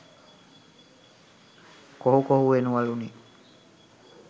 කොහු කොහු වෙනවලුනෙ